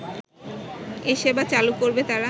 এ সেবা চালু করবে তারা